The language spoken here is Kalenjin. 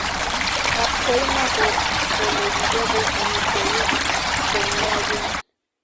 Kapkoima ko ole kichope amitwogik chemiachen